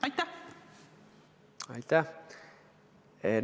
Aitäh!